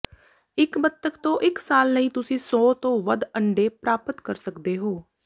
ਇੱਕ ਬਤੱਖ ਤੋਂ ਇੱਕ ਸਾਲ ਲਈ ਤੁਸੀਂ ਸੌ ਤੋਂ ਵੱਧ ਅੰਡੇ ਪ੍ਰਾਪਤ ਕਰ ਸਕਦੇ ਹੋ